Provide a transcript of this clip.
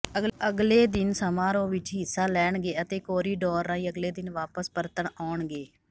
ਅਗਲੇ ਦਿਨ ਸਮਾਰੋਹ ਵਿੱਚ ਹਿੱਸਾ ਲੈਣਗੇ ਅਤੇ ਕੋਰੀਡੋਰ ਰਾਹੀਂ ਅਗਲੇ ਦਿਨ ਵਾਪਸ ਪਰਤਣ ਆਉਣਗੇ